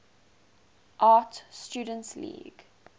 art students league